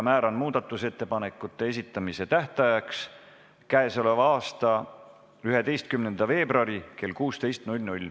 Määran muudatusettepanekute esitamise tähtajaks k.a 11. veebruari kell 16.